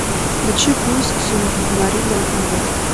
включи курск субмарина в мутной воде